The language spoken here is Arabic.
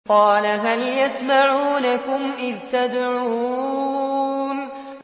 قَالَ هَلْ يَسْمَعُونَكُمْ إِذْ تَدْعُونَ